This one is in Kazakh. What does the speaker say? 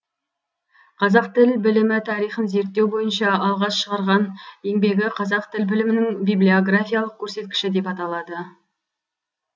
қазақ тіл білімі тарихын зерттеу бойынша алғаш шығарған еңбегі қазақ тіл білімінің библиографиялық көрсеткіші деп аталды